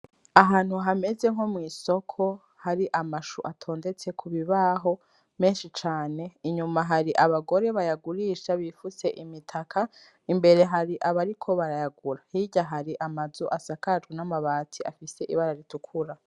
Ahantu hameze nko mw'isoko hari amashu atondetse ku bibaho menshi cane inyuma hari abagore bayagurisha bifutse imitaka, imbere hari abariko barayagura hirya hari amazu asakajwe n'amabati afise ibara ritukura.